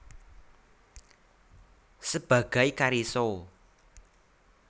Sebagai Karissa